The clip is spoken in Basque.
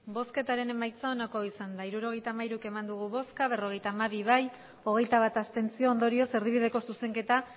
botoak hirurogeita hamairu bai berrogeita hamabi abstentzioak hogeita bat ondorioz erdibideko zuzenketa